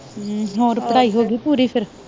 ਹੂੰ ਹੋਰ ਪੜਾਈ ਹੋਗੀ ਪੂਰੀ ਫਿਰ